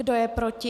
Kdo je proti?